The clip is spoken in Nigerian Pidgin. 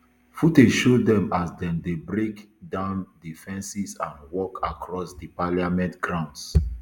footage show dem as dem dey break down di fences and walk across di parliament grounds